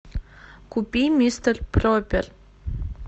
купи мистер пропер